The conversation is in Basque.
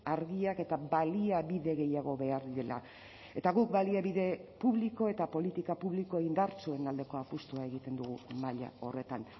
argiak eta baliabide gehiago behar direla eta guk baliabide publiko eta politika publiko indartsuen aldeko apustua egiten dugu maila horretan